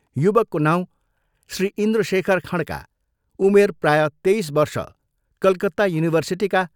युवकको नाउँ श्री इन्द्रशेखर खँड्का उमेर प्रायः २३ वर्ष कलकत्ता युनिभर्सिटीका